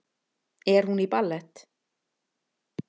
Er hún í ballett?